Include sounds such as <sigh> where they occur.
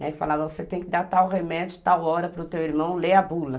<unintelligible> Falava, você tem que dar tal remédio, tal hora para o teu irmão, leia a bula.